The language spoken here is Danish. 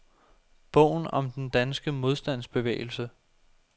Bogen om den danske modstandsbevægelse.